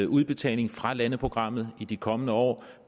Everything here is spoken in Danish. udbetaling fra landeprogrammet i de kommende år